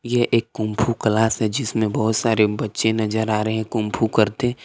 ये एक kung fu class है जिसमें बहुत सारे बच्चे नजर आ रहे हैं कुंग फू करते।